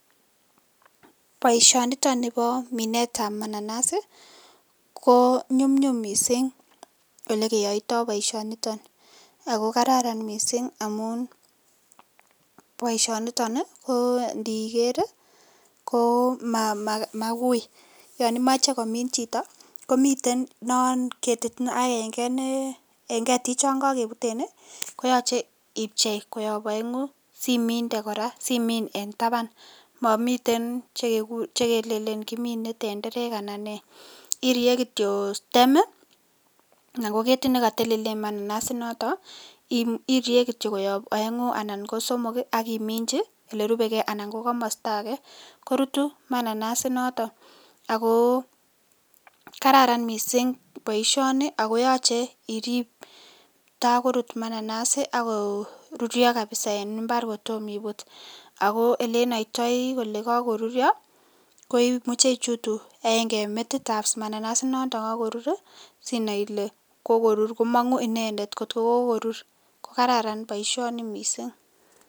Boishoniton nibo minetab mananas ko nyumnyum mising olekeyoito boishoniton ak ko kararan mising amun boishoniton ko ndiker ko mauui, yoon imoche komin chito komiten non ketit aeng'e nee en ketichon kokebuten koyoche ibchei koyob oengu siminde kora Simon en taban, momiten chekelelen kimine tenderek anan nee iriee kityo stem anan ko ketit nekotelelen mananas inoton Irie kityok koyob oengu anan ko somok ak iminchi olerubeke anan ko komosto akee, korutu mananas inoton ak ko kararan mising boishoni ak ko yoche iriib kotakorut mananas ak ko ruryo kabisaa en imbar kotomo ibut ak ko elenoitoi kolee kokoruryo ko imuche ichutu aeng'e en metitab mananas inoton kokorur sinai ilee kokorur komong'u inendet kot ko kokorur, ko kararan boishoni mising.